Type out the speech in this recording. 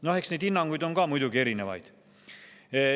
No eks neid hinnanguid on ka muidugi erinevaid.